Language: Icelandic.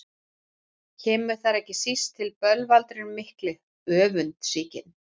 Kemur þar ekki síst til bölvaldurinn mikli, öfundsýki.